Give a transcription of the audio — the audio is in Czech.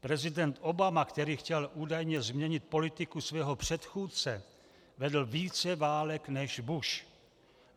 Prezident Obama, který chtěl údajně změnit politiku svého předchůdce, vedl více válek než Bush.